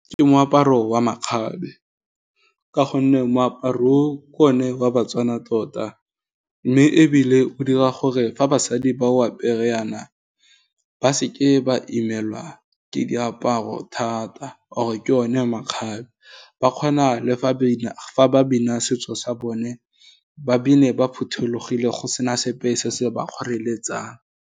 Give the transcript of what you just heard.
Ke moaparo wa makgabe, ka gonne moaparo o, ke o ne wa baTswana tota, mme ebile o dira gore fa basadi ba o apere yana, ba seke ba imelwa ke diaparo thata, or ke one makgabe, ba kgona le fa ba bina setso sa bone, ba bine ba phuthologile go sena sepe se se ba kgoreletsang.